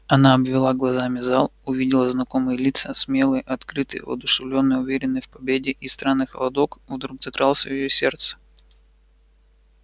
она обвела глазами зал увидела знакомые лица смелые открытые воодушевлённые уверенные в победе и странный холодок вдруг закрался в её сердце